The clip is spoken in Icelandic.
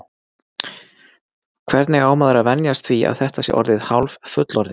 Hvernig á maður að venjast því að þetta sé orðið hálffullorðið?